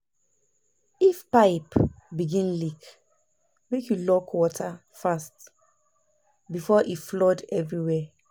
If pipe begin leak, make you lock water fast before e flood everywhere.